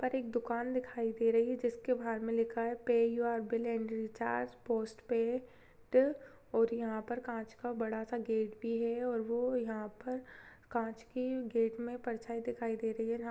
--पर एक दुकान दिखाई दे रही है जिसके बाहर मे लिखा है pay your bill and recharge postpaid और यहाँ पर कांच का बड़ा सा गेट भी है और वो यहाँ पर कांच के गेट में परछाई दिखाई दे रही है। --